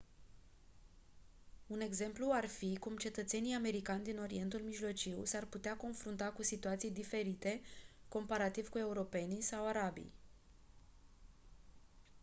un exemplu ar fi cum cetățenii americani din orientul mijlociu s-ar putea confrunta cu situații diferite comparativ cu europenii sau arabii